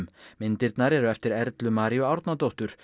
myndirnar eru eftir Erlu Maríu Árnadóttur